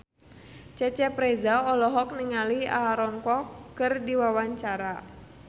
Cecep Reza olohok ningali Aaron Kwok keur diwawancara